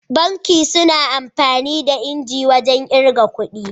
Banki suna amfani da injin wajan irga kudi